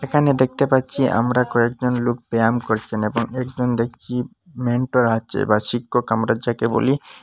এখানে দেখতে পাচ্ছি আমরা কয়েকজন লুক ব্যায়াম করচেন এবং একজন দেখচি মেন্টর আচে বা শিক্ষক আমরা যাকে বলি।